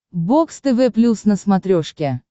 бокс тв плюс на смотрешке